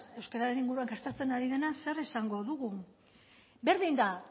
euskararen inguruan gastatzen ari dena zer esango dugu berdin da